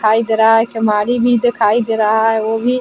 दिखाई दे रहा है। एक भी दिखाई दे रहा है वो भी --